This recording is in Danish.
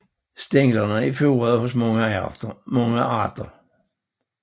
Stænglerne er furede hos mange arter